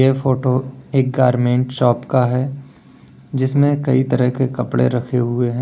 ए photo एक garment shop का है जिसमें कइ तरह के कपड़े रखे हुए हैं।